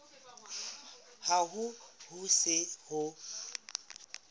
hang ha ho se ho